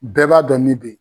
Bɛɛ b'a dɔn mi bɛ ye.